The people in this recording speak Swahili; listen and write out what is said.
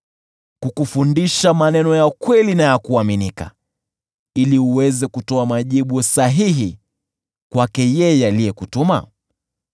kukufundisha maneno ya kweli na ya kuaminika, ili uweze kutoa majibu sahihi kwake yeye aliyekutuma?